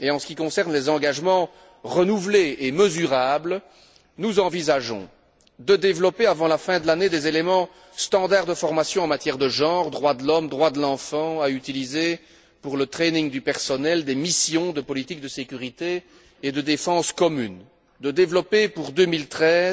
Et en ce qui concerne les engagements renouvelés et mesurables, nous envisageons de développer, avant la fin de l'année, des éléments standards de formation en matière de genre droits de l'homme, droits de l'enfant qui seront utilisés pour la formation du personnel des missions de politique de sécurité et de défense commune, de développer pour 2013